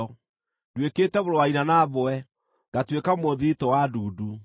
Nduĩkĩte mũrũ wa nyina na mbwe, ngatuĩka mũthiritũ wa ndundu.